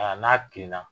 Aa n'a kilenna